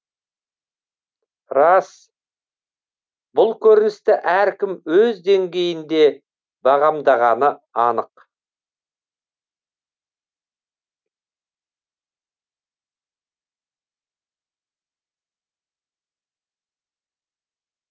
рас бұл көріністі әркім өз деңгейінде бағамдағаны анық